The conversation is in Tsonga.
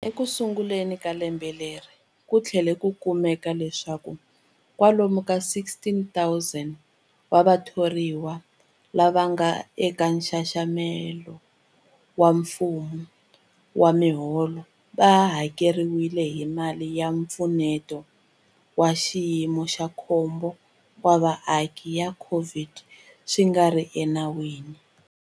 Ekusunguleni ka lembe leri, ku tlhele ku kumeka leswaku kwalomu ka 16,000 wa vathoriwa lava nga eka nxaxamelo wa mfumo wa miholo va hakeriwile hi mali ya Mpfuneto wa Xiyimo xa Khombo wa Vaaki ya COVID-19 swi nga ri enawini.